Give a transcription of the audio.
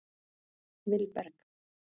Vilberg